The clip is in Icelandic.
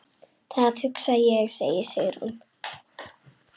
Það hugsa ég, segir Sigrún.